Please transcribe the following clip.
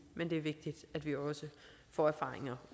men det er vigtigt at vi også får erfaringer